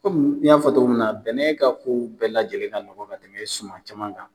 n y'a fɔ cogo min na bɛnɛ ka ko bɛɛ lajɛlen ka nɔgɔ ka tɛmɛ suman caman kan.